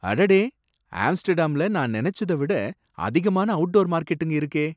அடடே! ஆம்ஸ்டர்டாம்ல நான் நினைச்சத விட அதிகமான அவுட்டோர் மார்க்கெட்டுங்க இருக்கே!